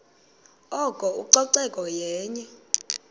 oko ucoceko yenye